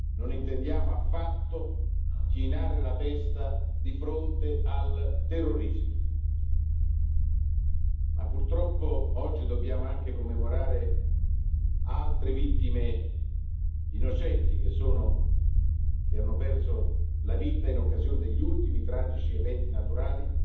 Non intendiamo affatto chinare la testa di fronte al terrorismo. Ma, purtroppo, oggi dobbiamo anche commemorare altre vittime innocenti che hanno perso la vita in occasione degli ultimi tragici eventi naturali